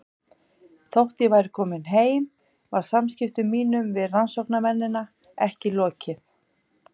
Þótt ég væri komin heim var samskiptum mínum við rannsóknarmennina ekki lokið.